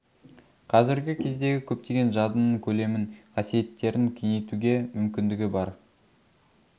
қазіргі кездегі көптеген жадының көлемін қасиеттерін кеңейтуге мүмкіндігі бар